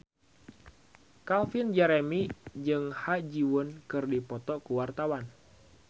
Calvin Jeremy jeung Ha Ji Won keur dipoto ku wartawan